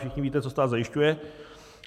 Všichni víte, co stát zajišťuje.